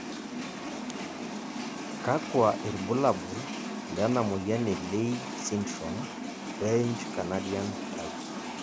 kakua irbulabol lena moyian e Leigh syndrome, French Canadian type?